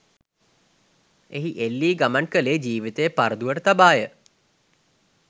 එහි එල්ලී ගමන් කළේ ජීවිතය පරදුවට තබා ය.